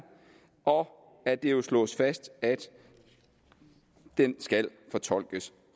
og at det slås fast at den skal fortolkes